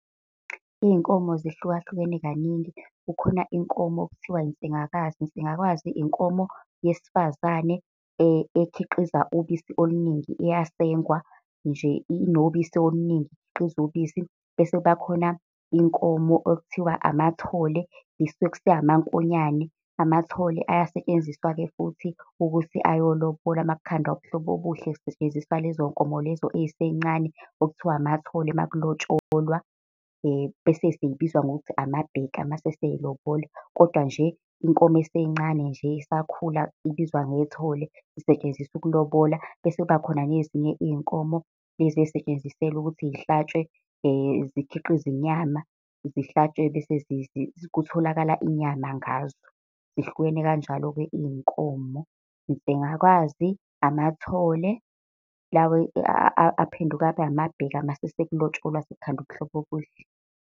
Iyinkomo zihluka hlukene kaningi, kukhona inkomo okuthiwa insengwakazi. Insengwakazi inkomo yesifazane ekhiqiza ubisi oluningi, iyasengwa nje, inobisi oluningi, ikhiqiza ubisi. Bese kubakhona inkomo okuthiwa amathole amankonyane. Amathole ayasetshenziswa-ke futhi ukuthi ayolobola makukhandwa ubuhlobo obuhle, kusetshenziswa lezo nkomo lezo ey'sencane okuthiwa amathole uma kulotsholwa. Bese sey'biza ngokuthi amabheka uma sey'lobola, kodwa nje inkomo esencane nje esakhula ibizwa ngethole isetshenziswa ukulobola. Bese kubakhona nezinye iy'nkomo lezi ey'setshenziselwa ukuthi yihlatshwe zikhiqize inyama, zi hlatshwe bese kutholakale inyama ngazo. Zihlukene kanjalo-ke iy'nkomo, insengwakazi, amathole lawa aphenduka abe amabheka uma sekulotsholwa sekukhandwa ubuhlobo obuhle.